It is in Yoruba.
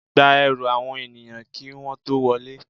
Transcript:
Gba ẹrù àwọn ènìyàn kí wọ́n tó wọlé.